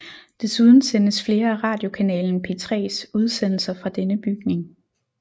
Desuden sendes flere af radiokanalen P3s udsendelser fra denne bygning